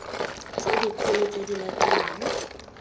tse dikgolo tse di latelang